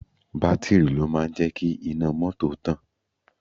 Bátìrì ló máa ń jẹ́ kí iná mọ́tò tàn